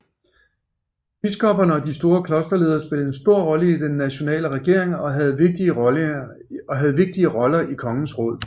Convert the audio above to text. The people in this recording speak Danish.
Biskopperne og de store klosterledere spillede en stor rolle i den nationale regering og havde vigtige roller i kongens råd